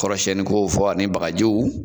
Kɔrɔsiɲɛniko fɔ ani bagajiw